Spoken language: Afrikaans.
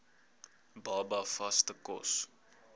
baba vaste kos